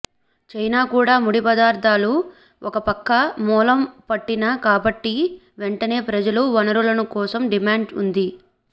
China కూడా ముడి పదార్థాల ఒక గొప్ప మూలం పట్టిన కాబట్టి వెంటనే ప్రజల వనరులను కోసం డిమాండ్ ఉంది